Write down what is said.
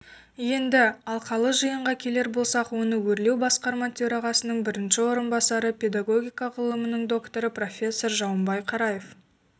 енді алқалы жиынға келер болсақ оны өрлеубасқарма төрағасының бірінші орынбасары педагогика ғылымының докторы профессор жаумбай қараев